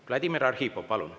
Vladimir Arhipov, palun!